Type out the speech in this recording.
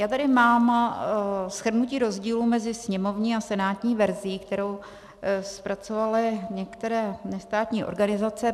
Já tady mám shrnutí rozdílů mezi sněmovní a senátní verzí, kterou zpracovaly některé nestátní organizace.